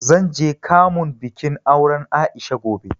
Zan je kamun bikin auren A'isha gobe.